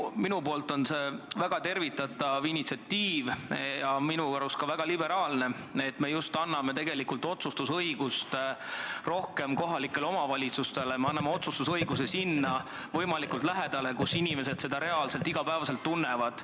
Minu arvates on see väga tervitatav initsiatiiv ja minu arust ka väga liberaalne, et me anname tegelikult rohkem otsustusõigust kohalikule omavalitsusele, me anname otsustusõiguse võimalikult lähedale sinna, kus inimesed selle mõju reaalselt iga päev tunnevad.